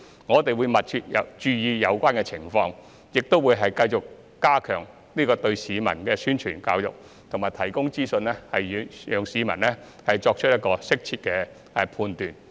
我們會密切注意有關的情況，亦會繼續加強對市民的宣傳教育，以及提供資訊，讓市民作出適切的判斷。